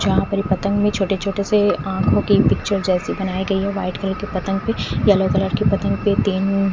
जहा पर एक पतंग भी छोटे छोटे से आँखों की पिक्चर जैसी बनाई गयी है वाइट कलर की पतंग पर येलो कलर की पतंग पर तीन--